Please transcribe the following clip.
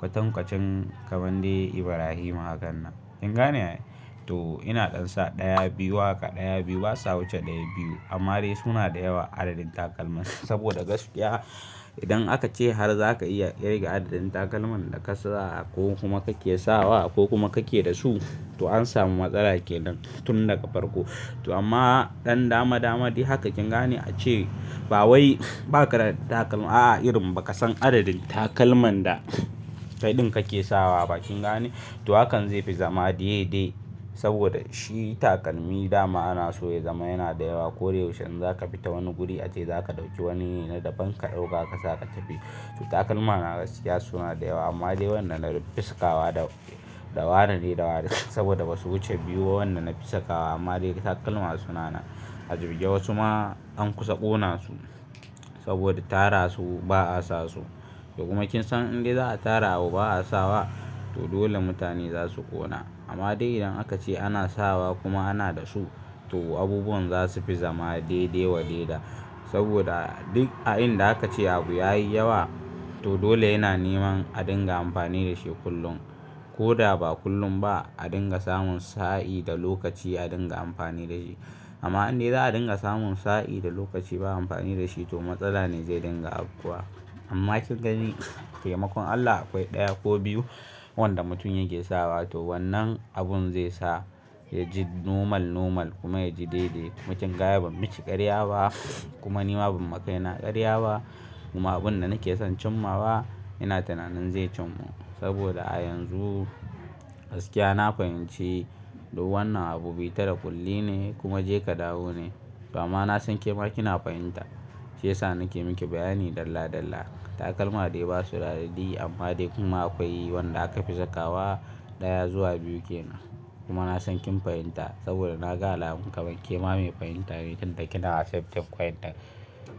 kwatankwacen kamande Ibrahima hakan nan. Kin gane ai? To ina ɗan sa ɗaya biyu haka ɗaya biyu basa wuce ɗaya biyu amma dai suna da yawa adadin takalman saboda gaskiya idan aka ce har za ka iya ƙirga adadin takalman da ka sa ko kuma kake sawa ko kuma kake da su to an samu matsala kenan tun daga farko. To amma ɗan dama dama dai haka kin gane a ce ba wai baka da takalma a'a irin ba ka san adadin takalman da kaiɗin kake sawa ba kin gane? To hakan zai fi zama daidai saboda shi takalmi dama ana so ya zama yana da yawa. Ko da yaushe in za ka fita wani guri ace za ka ɗauki wani ne na daban ka ɗauka ka saka ka tafi. To takalmana gaskiya suna da yawa amma wanda na fi sakawa, da wane ne, da wane, saboda ba su wuce biyu wanda na fi sakawa amma dai takalmana suna nan. A jibge wasu ma an kusa ƙona su saboda tara su ba a sasu. Kuma kin san in dai za a tara abu ba a sawa to dole mutane za su ƙona. Amma dai idan aka ce ana sawa kuma ana da su to abubuwan za su fi zama daidai wa daida saboda duk a inda aka ce abu ya yi yawa to dole yana neman a dinga amfani da shi kullum. Ko da ba kullum ba a dinga samun sa'i da lokaci a dinga amfani da shi. Amma in dai za a dinga samun sa'i da lokaci ba amfani da shi to matsala ne zai dinga afkuwa. Amma kin gani taimakon Allah akwai ɗaya ko biyu wanda mutum yake sawa to wannan abun zai sa ya ji nomal nomal kuma ya ji daidai. Kuma kinga ai ban miki karya ba kuma ni ma ban makaina karya ba kuma abun da nake son cimma wa ina tunanin zai cimma. Saboda a yanzu gaskiya na fahimci duk wannan abu bi ta da kulli ne kuma je ka dawo ne. To amma na san ke ma kina fahimta shiyasa nake miki bayani dalla dalla. Takalma dai ba su da adadi amma dai kuma akwai wanda aka fi sakawa ɗaya zuwa biyu ke nan. Kuma na san kin fahimta saboda na ga alamun kamar ke ma mai fahimta ne tun da kina asibti fahimta.